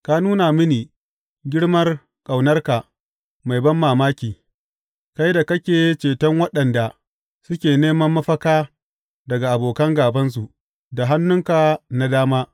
Ka nuna mini girmar ƙaunarka mai banmamaki, kai da kake ceton waɗanda suke neman mafaka daga abokan gābansu da hannunka na dama.